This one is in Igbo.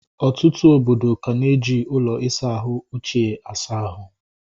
Ọtụtụ obodo ka na eji ụlọ isa ahụ ochie asa ahụ